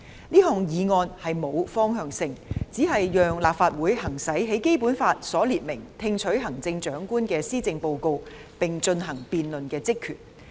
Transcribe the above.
這項議案並無方向性，只是讓立法會行使《基本法》所列明"聽取行政長官的施政報告並進行辯論"的職權。